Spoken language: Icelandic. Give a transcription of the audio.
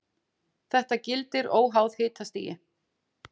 þetta gildir óháð hitastigi